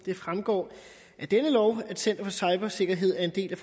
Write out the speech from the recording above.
fremgår af denne lov at center for cybersikkerhed er en